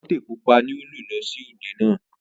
Ìtọ́tè pupa ni ó lò lọ sí òde náà.